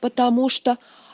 потому что